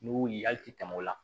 N'u y'u ye hali ti tɛmɛ o la